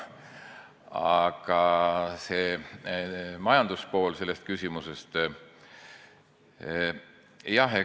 Aga selle küsimuse majanduspool ...